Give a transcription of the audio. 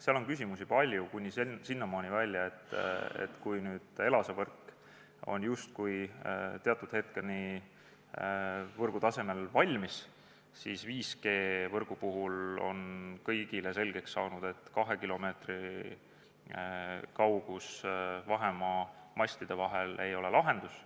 Seal on küsimusi palju, kuni sinnamaani välja, et kui ELASA võrk on teatud hetkeni justkui võrgu tasemel valmis, siis 5G-võrgu puhul on kõigile selgeks saanud, et kahekilomeetrine vahemaa mastide vahel ei ole lahendus.